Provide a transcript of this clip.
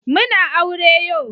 Muna aure yo